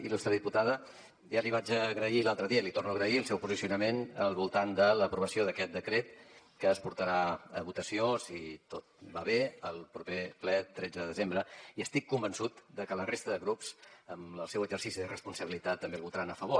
il·lustre diputada ja li vaig agrair l’altre dia i l’hi torno a agrair el seu posicionament al voltant de l’aprovació d’aquest decret que es portarà a votació si tot va bé al proper ple tretze de desembre i estic convençut de que la resta de grups amb el seu exercici de responsabilitat també el votaran a favor